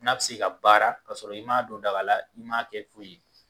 N'a bɛ se ka baara ka sɔrɔ i ma don dagala i ma kɛ foyi ye.